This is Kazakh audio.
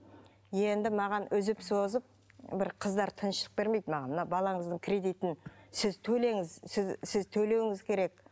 енді маған үзіп созып бір қыздар тыныштық бермейді маған мына балаңыздың кредитін сіз төлеңіз сіз сіз төлеуіңіз керек